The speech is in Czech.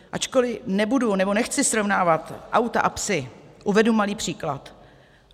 Ačkoli nebudu nebo nechci srovnávat auta a psy, uvedu malý příklad.